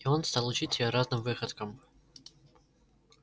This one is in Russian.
и он стал учить её разным выходкам